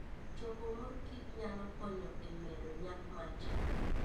Choko mor kich nyalo konyo e medo nyak mar cham.